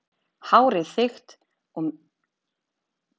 Hárið þykkt, mikið og grátt og fellur fram af höfðinu að hylnum.